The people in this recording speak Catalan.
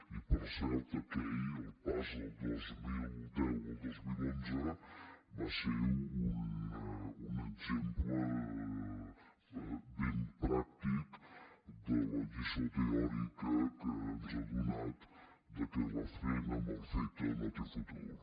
i per cert aquell el pas del dos mil deu al dos mil onze va ser un exemple ben pràctic de la lliçó teòrica que ens ha donat que la feina mal feta no té futur